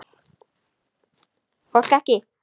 Fólk ekki.